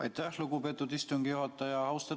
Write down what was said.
Aitäh, lugupeetud istungi juhataja!